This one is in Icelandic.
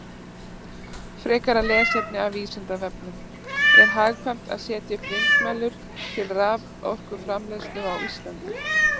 Frekara lesefni af Vísindavefnum: Er hagkvæmt að setja upp vindmyllur til raforkuframleiðslu á Íslandi?